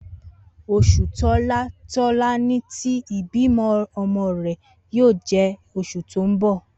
Osu tola Tolani ti ibimo omo re yoo je osu to n bo.